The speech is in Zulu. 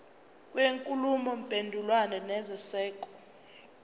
kwenkulumo mpendulwano nesenzeko